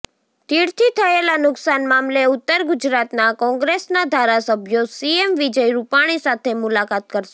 તીડથી થયેલા નુકસાન મામલે ઉત્તર ગુજરાતના કોંગ્રેસના ધારાસભ્યો સીએમ વિજય રૂપાણી સાથે મુલાકાત કરશે